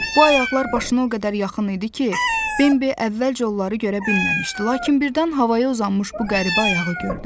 Bu ayaqlar başına o qədər yaxın idi ki, Bembi əvvəlcə onları görə bilməmişdi, lakin birdən havaya uzanmış bu qəribə ayağı gördü.